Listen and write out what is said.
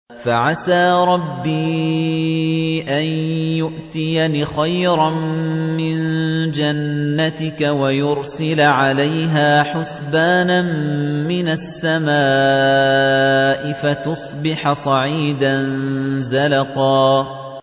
فَعَسَىٰ رَبِّي أَن يُؤْتِيَنِ خَيْرًا مِّن جَنَّتِكَ وَيُرْسِلَ عَلَيْهَا حُسْبَانًا مِّنَ السَّمَاءِ فَتُصْبِحَ صَعِيدًا زَلَقًا